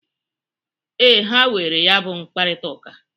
Ee, ha nwere ya bụ mkparịtaụka.